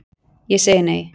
Ég segi nei!